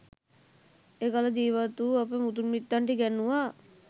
එකල ජීවත් වූ අප මුතුන් මිත්තන්ට ඉගැන්නුවා